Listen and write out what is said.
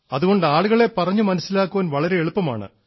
അതുകൊണ്ട് ആളുകളെ പറഞ്ഞു മനസ്സിലാക്കാൻ വളരെ എളുപ്പമാണ്